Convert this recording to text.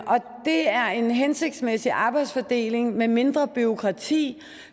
er en hensigtsmæssig arbejdsfordeling med mindre bureaukrati